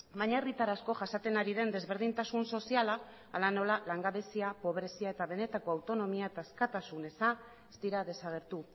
baina herritar asko jasaten ari den desberdintasun soziala hala nola langabezia pobrezia eta benetako autonomia eta askatasun eza ez dira desagertu